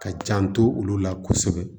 Ka janto olu la kosɛbɛ